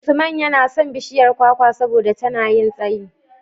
Usman yana son bishiyar kwakwa saboda tana yin tsayi.